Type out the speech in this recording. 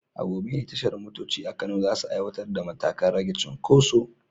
A gobe ne tashar motoci a Kano za su aiwatar da matakan rage cunkoso.